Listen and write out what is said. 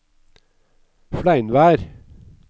Fleinvær